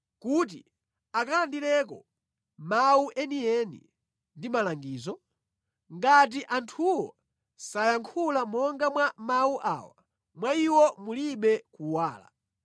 kuti akalandireko mawu enieni ndi malangizo? Ngati anthuwo sayankhula monga mwa mawu awa, mwa iwo mulibe kuwala.